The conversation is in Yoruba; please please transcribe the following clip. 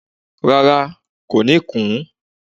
Rárá, kò ní kùn ún